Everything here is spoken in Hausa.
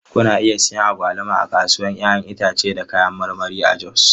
Kuna iya siyan agwaluma a kasuwar 'ya'yan itace da kayan marmari a Jos.